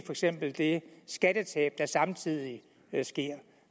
eksempel det skattetab der samtidig sker